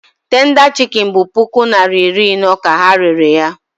Tenda chikin bụ puku naịra iri ino ka ha rere ya.